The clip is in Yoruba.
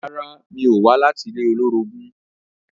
Rárá, mi ò wá láti ilé olórogún